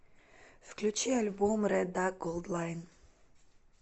включи альбом рэд дак голд лайн